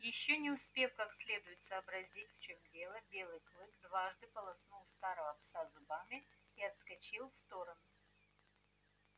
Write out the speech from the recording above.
ещё не успев как следует сообразить в чём дело белый клык дважды полоснул старого пса зубами и отскочил в сторону